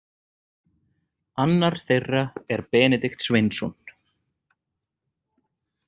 Annar þeirra er Benedikt Sveinsson.